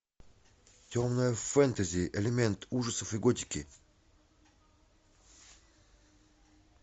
темное фэнтези элемент ужасов и готики